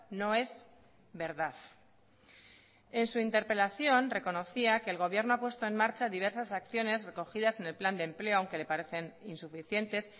no es verdad en su interpelación reconocía que el gobierno ha puesto en marcha diversas acciones recogidas en el plan de empleo aunque le parecen insuficientes